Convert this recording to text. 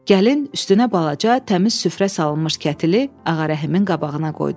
Gəlin üstünə balaca, təmiz süfrə salınmış kətili Ağarəhimin qabağına qoydu.